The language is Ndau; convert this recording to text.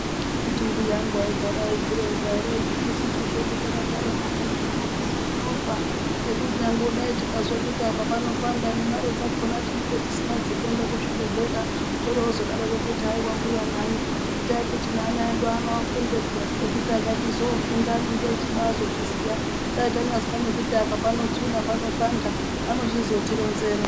Akiti mbuya angu aigara eizvironza ere echitibisusu zvedu takagara mumakanyi muno tisu tinofa ngekuti nyangodai tikazwa kuti apa panopanda nemare dzakona tinenge tisina dxekuenda kuzvibhedhlera torozodaroko kuti hai wambuya nai itai kuti neana edu anofunda peya nekuti akachizofunda anenge achibazozviziya daibtanyazwa nekuti apa panotsuna panopanda anochizotironzera.